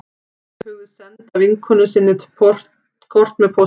Róbert hugðist senda vinkonu sinni kort með pósti